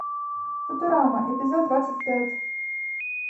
футурама эпизод двадцать пять